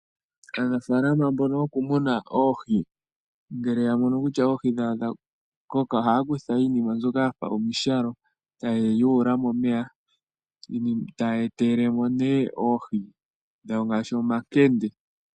Aanafaalama mbono yo ku muna oohi ngele ya mono kutya oohi dhawo odha koka, ohaya kutha iinima mbyoka ya fa omishalo taye yi yuula momeya taya etelele mo nee oohi ngaashi omankende.